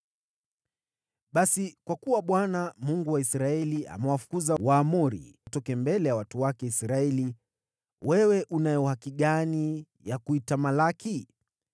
“Basi kwa kuwa Bwana , Mungu wa Israeli, amewafukuza Waamori watoke mbele ya watu wake Israeli, wewe unayo haki gani ya kuitamalaki?